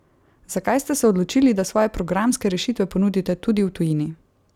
Zakaj ste se odločili, da svoje programske rešitve ponudite tudi v tujini?